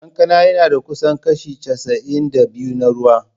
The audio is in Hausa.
Kankana yana da kusan kashi casa’in da biyu na ruwa.